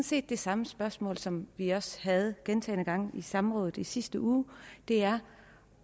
set det samme spørgsmål som vi også havde gentagne gange i samrådet i sidste uge det er